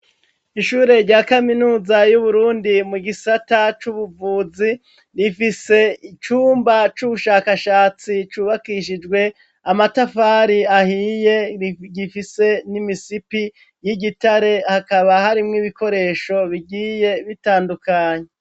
Ishure rya kaminuza yu Burundi mu gisata c'ubuvuzi rifise icumba c'ubushakashatsi cubakishijwe amatafari ahiye gifise n'imisipi y'igitare hakaba hari mw ibikoresho bigiye bitandukanye.